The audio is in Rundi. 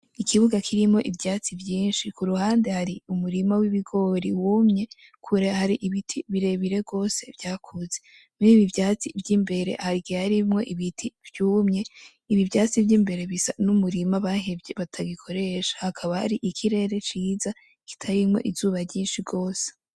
Ikibuga kirimwo ivyatsi vyinshi ku ruhande hari umurima w'ibigori wumye kubera hariho ibiti birebire gose vyakuze muri ibi vyatsi vy'imbere hari igihe harimwo ibiti vyumye ibi vyatsi vyumye bisa n'umurima bahevye batagikoresha hakaba hari ikirere ciza kitarimwo izuba ryinshi gose.